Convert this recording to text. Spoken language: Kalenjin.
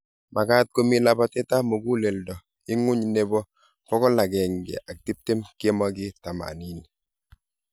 Magaat komii labateet ap muguleldo ing'uny nepo 120/80.